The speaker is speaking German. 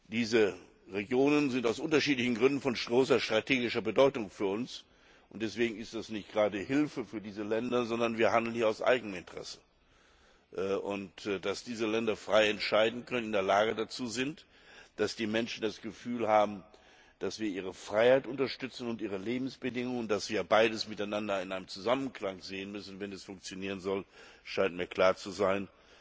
Diese Regionen sind aus unterschiedlichen Gründen von großer strategischer Bedeutung für uns, und deswegen ist das nicht eine Hilfe für diese Länder, sondern wir handeln hier aus Eigeninteresse. Dass diese Länder frei entscheiden können, dass die Menschen das Gefühl haben, dass wir ihre Freiheit und ihre Lebensbedingungen unterstützen und dass wir beides miteinander in einem Zusammenklang sehen müssen, wenn es funktionieren soll, scheint mir klar zu sein.